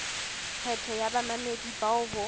kgetho ya bamamedi bao ho